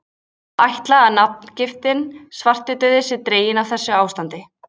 Má ætla að nafngiftin svartidauði sé dregin af þessu ástandi.